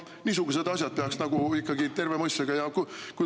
Niisuguseid asju peaks nagu ikkagi terve mõistusega.